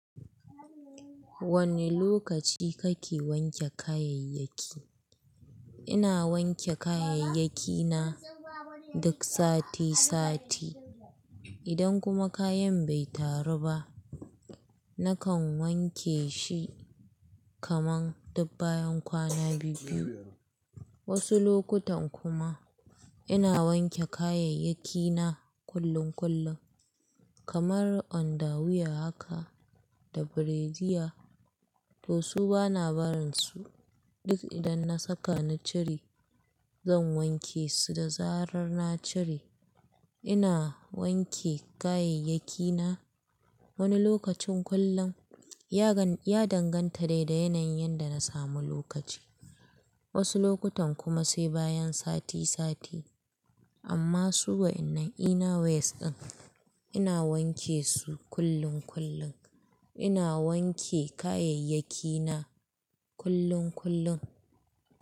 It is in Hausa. Wane lokaci kake wanke kayayyaki? Ina wanke kayayyaki na duk sati sati. Idan kuma kayan bai taru ba, nakan wanke shi kaman duk bayan kwana biyu-biyu. Wasu lokutan kuma ina wanke kayayyaki na kullun-kullun, kamar underwear haka da brezier. To su bana barin su, duk idan na saka na cire, zan wanke su da zarar na cire. Ina wanke kayayyaki na wani lokacin kullun, ya danganta dai da yanayin da na samu lokaci. Wasu lokutan kuma sai bayan sati sati. Amma suwa'inan inner wears ɗin, ina wanke su kullun-kullun. Ina wanke kayayyaki na kullun-kullun.